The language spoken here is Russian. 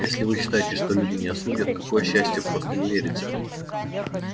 если вы считаете что люди не осудят какое счастье просто не верится